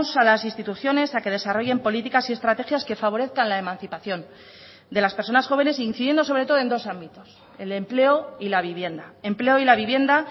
a las instituciones a que desarrollen políticas y estrategias que favorezcan la emancipación de las personas jóvenes incidiendo sobre todo en dos ámbitos el empleo y la vivienda empleo y la vivienda